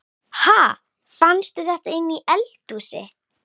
Ha! Fannstu þetta inni í eldhúsi?